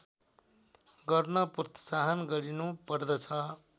गर्न प्रोत्साहन गरिनुपर्दछ